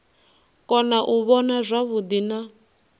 kona u vhona zwavhuḓi na